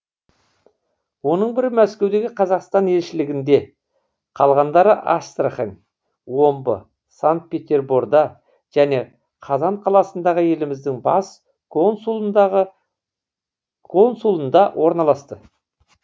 оның бірі мәскеудегі қазақстан елшілігінде қалғандары астрахань омбы санкт петерборда және қазан қаласындағы еліміздің бас консулдығында орналасты